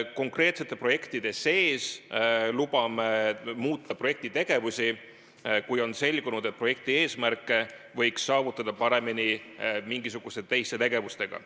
Konkreetsete projektide raames me lubame muuta projekti tegevusi, kui on selgunud, et projekti eesmärke võiks saavutada paremini mingisuguste teiste tegevustega.